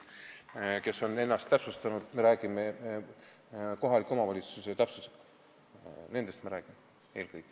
Me räägime eelkõige nendest, kes on oma elukoha kohaliku omavalitsuse täpsusega kirja pannud.